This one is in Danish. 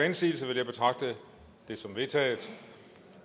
indsigelse vil jeg betragte det som vedtaget